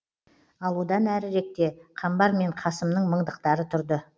ал одан әріректе қамбар мен қасымның мыңдықтары тұрды